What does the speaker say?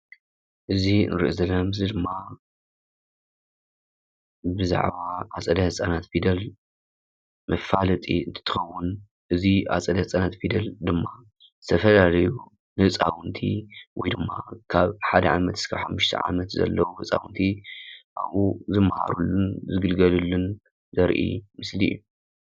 እዚ እንሪኦ ዘለና ምስሊ ድማ ብዛዕባ ኣፀደ ህፃናት ፈደል መፋለጢ እንትትከውን ኣፀደ ህፃናት ፊደል ድማ ዝተፈላለዩ ንህፃውቲ ወይ ድማ ንሓደ ዓመት ክሳብ ሓሙስተ ዓመት ዘለው ህፃውንቲ ኣብኡ ዝመሃሩሉን ዝግልገልሉን ዘርኢ ምስሊ እዩ።